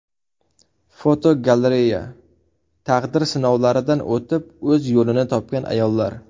Fotogalereya: Taqdir sinovlaridan o‘tib, o‘z yo‘lini topgan ayollar.